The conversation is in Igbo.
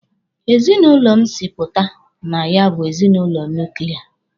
Ezinụlọ m si pụta na ya bụ ezinụlọ nuklia.